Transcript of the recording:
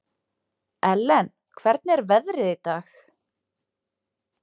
Ellen, hvernig er veðrið í dag?